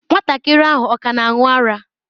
Nwatakịrị ahụ ọ ka na-aṅụ ara?